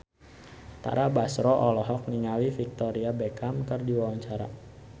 Tara Basro olohok ningali Victoria Beckham keur diwawancara